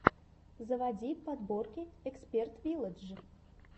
заводи подборки эксперт вилладж